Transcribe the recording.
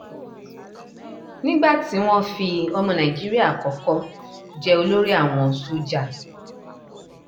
nígbà tí wọ́n fi ọmọ nàìjíríà àkọ́kọ́ jẹ olórí àwọn sójà